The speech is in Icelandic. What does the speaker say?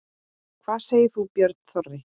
Hvað segir þú, Björn Þorri?